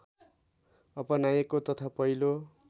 अपनाइएको तथा पहिलो